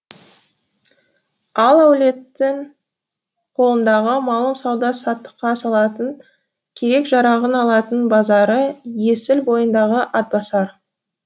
ал әулеттің қолындағы малын сауда саттықа салатын керек жарағын алатын базары есіл бойындағы атбасар